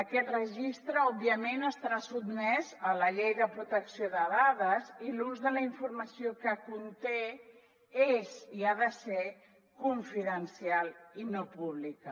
aquest registre òbviament estarà sotmès a la llei de protecció de dades i l’ús de la informació que conté és i ha de ser confidencial i no pública